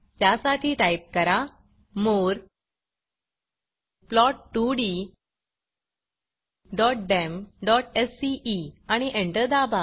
त्यासाठी टाईप करा मोरे plot2ddemसीई आणि एंटर दाबा